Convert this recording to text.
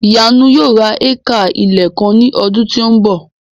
Ìyanu yóò ra éékà ilẹ̀ kan ní ọdún tí ó ń bọ̀